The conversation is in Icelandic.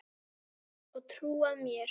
Og trúað mér!